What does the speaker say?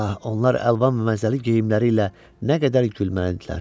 Ah, onlar əlvan və məzəli geyimləri ilə nə qədər gülməlidirlər.